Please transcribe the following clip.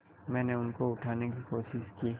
मैंने उनको उठाने की कोशिश की